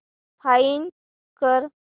find कर